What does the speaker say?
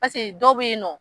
Paseke dɔw be yen nɔ